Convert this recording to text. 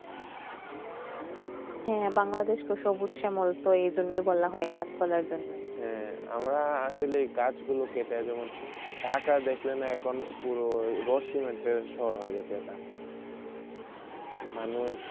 হয়ে বাংলাদেশ তো এইজন্যই বলা হয় গাসপালার জন্যই আমরা আসল কাজ গুলো যেমন ঢাকা দেখলন এখন রসনি সর হয় গেশে এটা